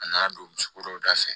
A nana don misi koroda fɛ